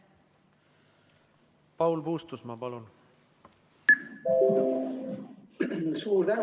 Paul Puustusmaa, palun!